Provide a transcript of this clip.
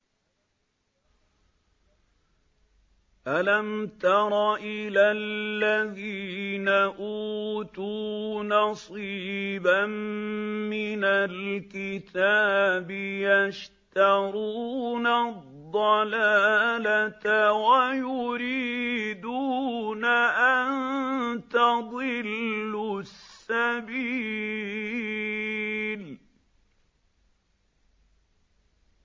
أَلَمْ تَرَ إِلَى الَّذِينَ أُوتُوا نَصِيبًا مِّنَ الْكِتَابِ يَشْتَرُونَ الضَّلَالَةَ وَيُرِيدُونَ أَن تَضِلُّوا السَّبِيلَ